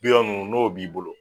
Bigan nunnu n'o b'i bolo